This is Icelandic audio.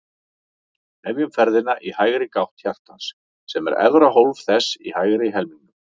Hefjum ferðina í hægri gátt hjartans, sem er efra hólf þess í hægri helmingnum.